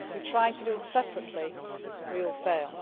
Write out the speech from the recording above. If we try to do it separately, we will fail.